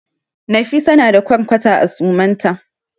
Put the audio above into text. Nafisa na da ƙwarkwata a suman ta.